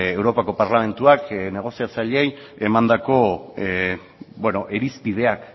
europako parlamentuak negoziatzaileei emandako irizpideak